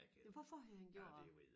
Ja hvorfor havde han gjort det